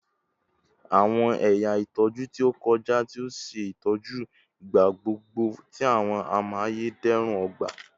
Awọn ẹya itọju ti o kọja ti o ṣe itọju igbagbogbo ti awọn amayederun ogba